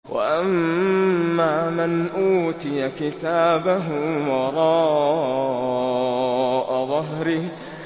وَأَمَّا مَنْ أُوتِيَ كِتَابَهُ وَرَاءَ ظَهْرِهِ